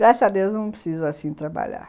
Graças a Deus eu não preciso assim trabalhar.